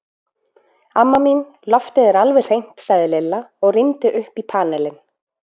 Amma mín, loftið er alveg hreint sagði Lilla og rýndi upp í panelinn.